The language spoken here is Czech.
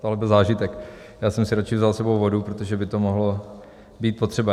Tohle byl zážitek, já jsem si radši vzal s sebou vodu, protože by to mohlo být potřeba.